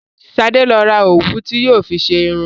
Sadé lọ ra òwú tí yóò fi ṣe irun